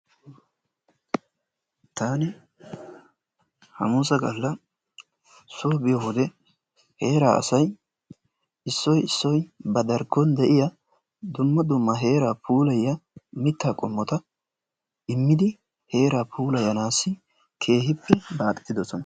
Taani hamuusa galla soo biyo wode heeraa asay issoy issoy ba darkkon de'iya dumma dumma heeraa puulayiyaa mittaa qommota immidi heeraa puulayanaassi keehippe baaxetidosona.